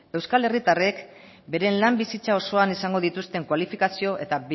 euskal herritarrek beren lan bizitza osoan izango dituzten kualifikazio eta